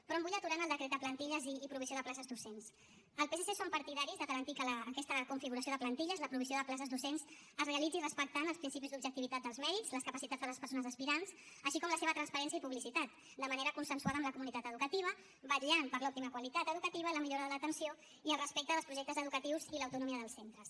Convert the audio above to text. però em vull aturar en el decret de plantilles i provisió de places docents al psc som partidaris de garantir que aquesta configuració de plantilles la provisió de places docents es realitzi respectant els principis d’objectivitat dels mèrits les capacitats de les persones aspirants així com la seva transparència i publicitat de manera consensuada amb la comunitat educativa vetllant per l’òptima qualitat educativa la millora de l’atenció i el respecte dels projectes educatius i l’autonomia dels centres